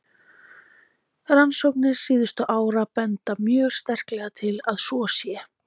Rannsóknir síðustu ára benda mjög sterklega til að svo sé.